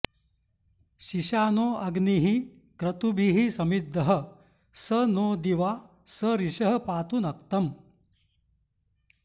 शिशानो अग्निः क्रतुभिः समिद्धः स नो दिवा स रिषः पातु नक्तम्